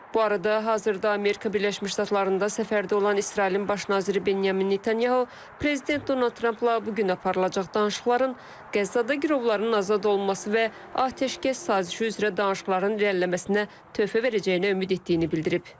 Bu arada, hazırda Amerika Birləşmiş Ştatlarında səfərdə olan İsrailin baş naziri Benyamin Netanyahu, prezident Donald Trampla bu gün aparılacaq danışıqların Qəzzada girovların azad olunması və atəşkəs sazişi üzrə danışıqların irəliləməsinə töhfə verəcəyini ümid etdiyini bildirib.